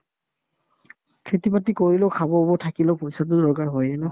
খেতি-বাতি কৰিলেও খাব বহুত থাকিলেও পইচাতো দৰকাৰ হয়ে ন